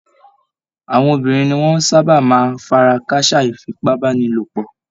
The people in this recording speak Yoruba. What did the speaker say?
Àwọn obìnrin ni wọ́n sáábà máa ń fara káásá ìfipábánilòpọ̀